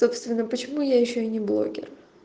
собственно почему я ещё и не блогер